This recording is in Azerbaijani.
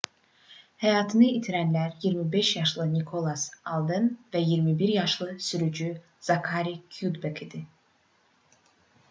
həyatını itirənlər 25 yaşlı nikolas alden və 21 yaşlı sürücü zakari kyudbek idi